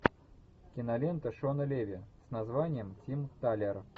кинолента шона леви с названием тим талер